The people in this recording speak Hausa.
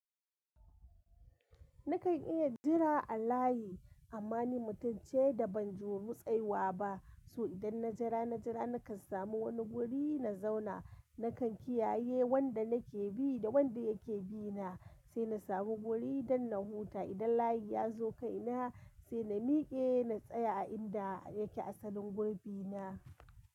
Nakan iya jira a layi, amma ni mutum ce da ban ju rutseyuwa ba, so idan na jira, na jira nakan samu wani guri na zauna, na kan kiyaye wanda nake bi da wanda yake bi na, sai na samu guri don na huta idan layi ya zo kai na, sai na miƙe na tsaya a inda yake asalin gurbin na.